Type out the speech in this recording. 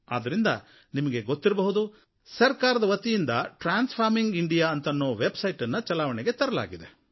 ಆದ್ದರಿಂದ ನಿಮಗೆ ಗೊತ್ತಿರಬಹುದು ಸರಕಾರದ ವತಿಯಿಂದ ಟ್ರಾನ್ಸ್ ಫಾರ್ಮಿಂಗ್ ಇಂಡಿಯಾ ಅಂತನ್ನೋ ವೆಬ್ ಸೈಟ್ ಗೆ ಚಾಲನೆ ನೀಡಲಾಗಿದೆ